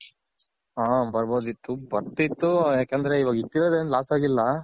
ಹ ಬರ್ಬೋದಿತ್ತು ಬರ್ತಿತ್ತು ಯಾಕಂದ್ರೆ ಇವಾಗ್ ಇಟ್ಟಿರೋದ್ ಏನ್ loss ಆಗಿಲ್ಲ.